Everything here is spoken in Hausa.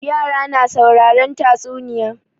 Yara na sauraren tatsunniya.